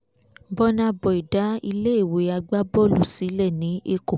bùnà boy dá iléèwé agbábọ́ọ̀lù sílẹ̀ ní èkó